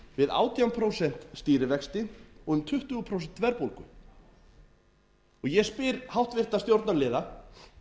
við átján prósent stýrivexti og um tuttugu prósent verðbólgu ég spyr háttvirtan stjórnarliða